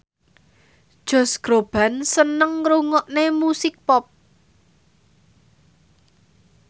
Josh Groban seneng ngrungokne musik pop